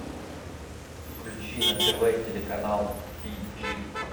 включи на тв телеканал ти джи